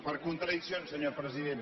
per contradiccions senyor president